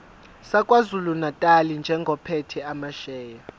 sakwazulunatali njengophethe amasheya